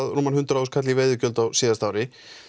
rúman hundrað þúsund kall í veiðigjöld á síðasta ári